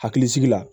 Hakilisigi la